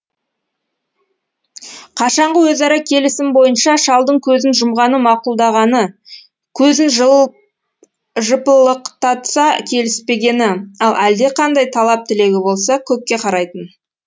қашанғы өзара келісім бойынша шалдың көзін жұмғаны мақұлдағаны көзін жылт жыпылықтатса келіспегені ал әлдеқандай талап тілегі болса көкке қарайтын